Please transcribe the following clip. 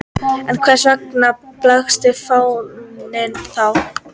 En hvers vegna blaktir fáninn þá?